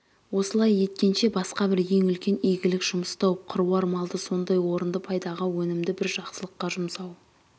осылай еткенше басқа бір ең үлкен игілік жұмыс тауып қыруар малды сондай орынды пайдаға өнімді бір жақсылыққа жұмсау